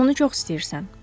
Sən bunu çox istəyirsən.